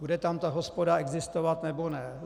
Bude tam ta hospoda existovat, nebo ne?